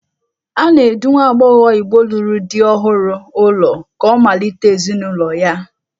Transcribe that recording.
A na-edu nwa agbọghọ Igbo lụrụ di ọhụrụ ụlọ ka ọ malite ezinụlọ ya.